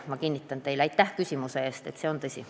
Ma kinnitan teile, et see on tõsi.